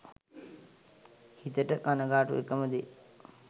හිතට කනගාටු එකම දේ